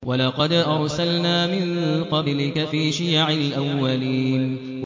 وَلَقَدْ أَرْسَلْنَا مِن قَبْلِكَ فِي شِيَعِ الْأَوَّلِينَ